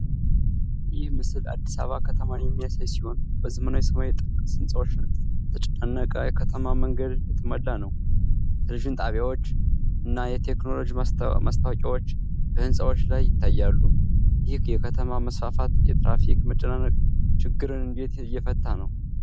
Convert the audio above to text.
ይህ ምስል አዲስ አበባ ከተማን የሚያሳይ ሲሆን፣ በዘመናዊ ሰማይ ጠቀስ ህንጻዎችና በተጨናነቀ የከተማ መንገድ የተሞላ ነው። የቴሌቪዥን ጣቢያዎች (OBS TV) እና የቴክኖሎጂ ማስታወቂያዎች በህንጻዎች ላይ ይታያሉ። ይህ የከተማ መስፋፋት የትራፊክ መጨናነቅ ችግርን እንዴት እየፈታ ነው?